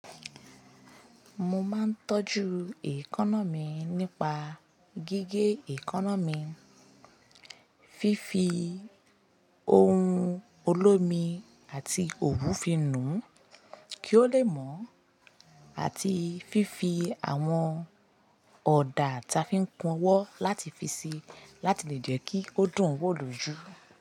Mo máa ń tọ́jú èkónọ́mí nípa gígé èkónọ́mí, fífi ohun olómi àti òwú fi nù kí ó lè mọ̀, àti fífi àwọn ọ̀dà ta fi ń kun owo láti fi si láti lè jẹ́ kí ó dùn wo lòju.